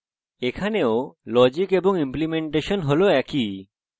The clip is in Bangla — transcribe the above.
এখানেও logic এবং ইমপ্লিমেন্টেশন হল একই